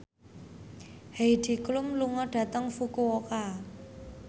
Heidi Klum lunga dhateng Fukuoka